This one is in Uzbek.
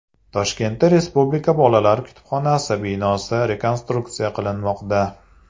Toshkentda Respublika bolalar kutubxonasi binosi rekonstruksiya qilinmoqda.